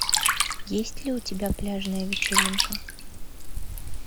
есть ли у тебя пляжная вечеринка